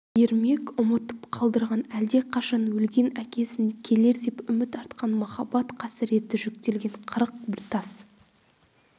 ермек ұмытып қалдырған әлдеқашан өлген әкесін келер деп үміт артқан махаббат қасіреті жүктелген қырық бір тас